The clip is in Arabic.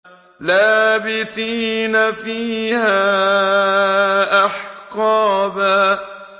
لَّابِثِينَ فِيهَا أَحْقَابًا